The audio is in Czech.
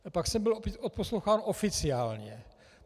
A pak jsem byl odposloucháván oficiálně.